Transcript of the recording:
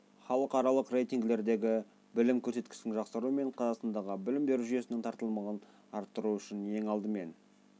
халықаралық рейтингілердегі білім көрсеткішінің жақсаруы мен қазақстандық білім беру жүйесінің тартымдылығын арттыру үшін ең алдымен